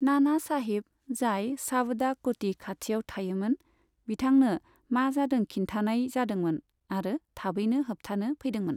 नाना साहिब, जाय सावदा क'टि खाथिआव थायोमोन, बिथांनो मा जादों खिन्थानाय जादोंमोन आरो थाबैनो होबथानो फैदोंमोन।